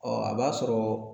Ɔ a b'a sɔrɔ